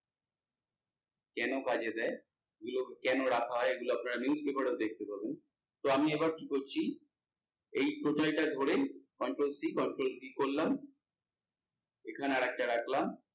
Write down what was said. কেন কাজে দেয়, এগুলো কেন রাখা হয় এগুলো আপনারা news paper এ দেখতে পাবেন, তো আমি এবার কি করছি এই total টা ধরে controlCcontrolv করলাম এখানে আর একটা রাখলাম।